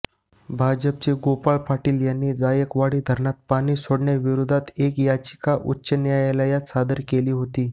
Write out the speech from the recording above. भाजपचे गोपाळ पाटील यांनी जायकवाडी धरणात पाणी सोडण्याविरोधात एक याचिका उच्च न्यायालयात सादर केली होती